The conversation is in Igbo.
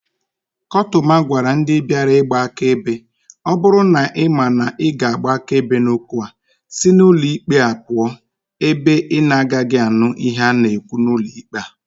Kotuma gwara ndi biara igba akaebe "o buru na ima na I ga-agba akaebe n'okwu a, si n'ulo ikpe a puo ebe inagagi anu ihe a na-ekwu n'ulo ikpe a."